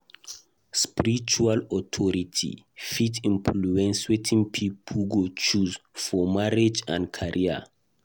Spiritual authority fit influence wetin pipo go choose for marriage and career.